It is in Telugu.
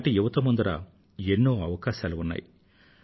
ఈనాటి యువతీయువకుల ఎదుట ఎన్నో అవకాశాలు ఉన్నాయి